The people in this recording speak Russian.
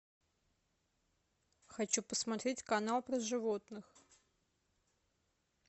хочу посмотреть канал про животных